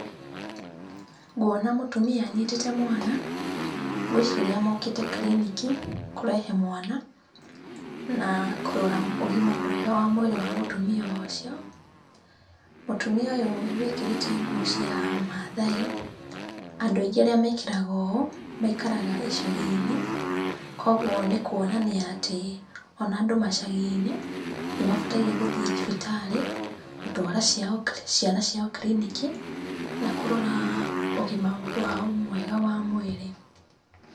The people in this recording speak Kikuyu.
Nguona mũtumia anyitĩte mwana, ngwĩciria mokĩte kiriniki kũrehe mwana, na kũrora ũgima mwega wa mwĩrĩ wa mũtumia ũcio. Mũtumia ũyũ wĩkĩrĩte nguo cia Mathai, andũ aingĩ arĩa mekĩraga ũũ, maikaraga icagi-inĩ, koguo nĩ kuonania atĩ ona andũ macagi-inĩ nĩmabataire gũthiĩ thibitarĩ gũtwara ciao, ciana ciao kiriniki na kũrora ũgima wao mwega wa mwĩrĩ.